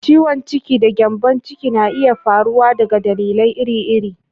Ciwon ciki da gyambon ciki na iya faruwa daga dalilai iri-iri.